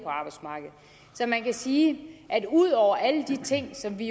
så man kan sige at ud over alle de ting som vi